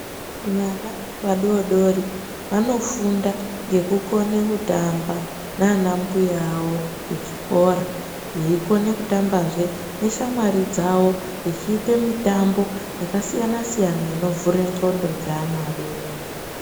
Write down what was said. Vana vadoodori vanofunda nekukone kutamba nana mbuya avo kuchikora veikone kutamba zvee neshamwari dzavo vechiite mitambo yakasiyana siyana zvee inovhure migqondo yevana vadoodori.